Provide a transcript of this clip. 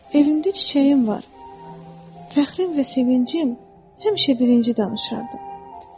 Evimdə çiçəyim var, fəxrim və sevincim, həmişə birinci danışardı.